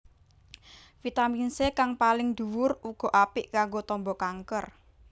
Vitamin C kang paling dhuwur uga apik kanggo tamba kanker